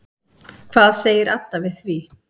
Hvað segir Adda við því?